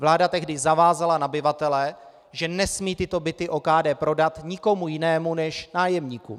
Vláda tehdy zavázala nabyvatele, že nesmí tyto byty OKD prodat nikomu jinému než nájemníkům.